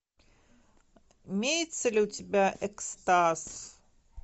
имеется ли у тебя экстаз